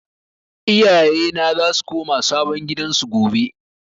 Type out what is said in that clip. Iyaye na za su koma sabon gidan su gobe